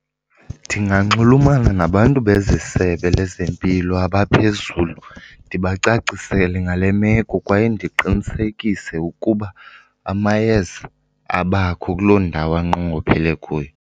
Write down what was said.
Ndinganxulumana nabantu bezeSebe lezeMpilo abaphezulu ndibacacisele ngale meko kwaye ndiqinisekise ukuba amayeza abakho kuloo ndawo anqongophele kuyo.